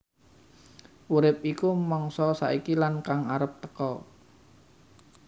Urip iku mangsa saiki lan kang arep teka